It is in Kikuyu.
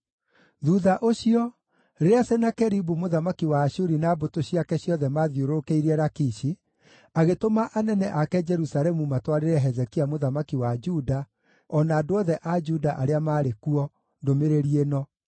Thuutha ũcio, rĩrĩa Senakeribu mũthamaki wa Ashuri na mbũtũ ciake ciothe maathiũrũrũkĩirie Lakishi, agĩtũma anene ake Jerusalemu matwarĩre Hezekia mũthamaki wa Juda, o na andũ othe a Juda arĩa maarĩ kuo, ndũmĩrĩri ĩno: